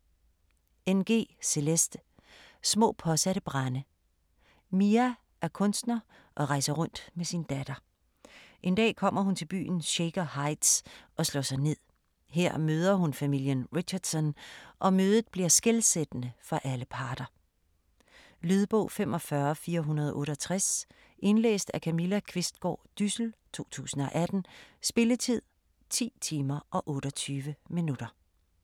Ng, Celeste: Små påsatte brande Mia er kunstner og rejser rundt med sin datter. En dag kommer hun til byen Shaker Heights, og slår sig ned. Her møder hun familien Richardson, og mødet bliver skelsættende for alle parter. Lydbog 45468 Indlæst af Camilla Qvistgaard Dyssel, 2018. Spilletid: 10 timer, 28 minutter.